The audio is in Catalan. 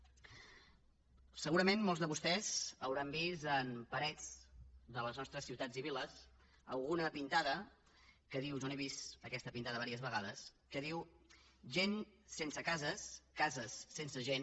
segurament molts de vostès deuen haver vist en parets de les nostres ciutats i viles alguna pintada que diu jo l’he vista aquesta pintada diverses vegades gent sense cases cases sense gent